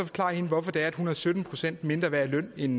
forklare hende hvorfor det er at hun er sytten procent mindre værd i løn end